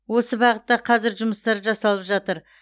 осы бағытта қазір жұмыстар жасалып жатыр